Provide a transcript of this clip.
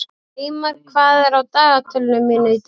Eymar, hvað er á dagatalinu mínu í dag?